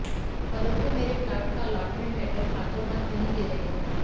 परंतु मेरे प्लाट का अलाटमेंट लैटर हाथोंहाथ नहीं दे रहे